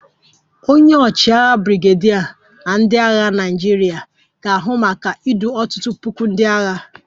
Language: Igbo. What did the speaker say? Onye ọchịagha brigadier na ndị agha Naịjirịa ga-ahụ maka idu ọtụtụ puku ndị agha